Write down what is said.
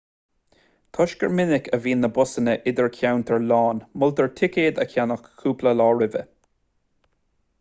toisc gur minic a bhíonn na busanna idircheantair lán moltar ticéad a cheannach cúpla lá roimhe